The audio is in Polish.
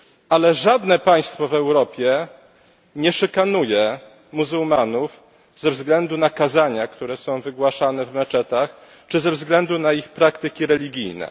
Ale żadne państwo w Europie nie szykanuje muzułmanów ze względu na kazania, które są wygłaszane w meczetach, czy ze względu na ich praktyki religijne.